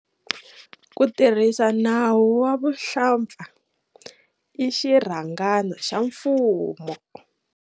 Ku tirhisa nawu wa vuhlampfa i xirhangana xa mfumo.